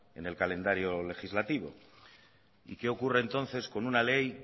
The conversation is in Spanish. en el calendario legislativo y qué ocurre entonces con una ley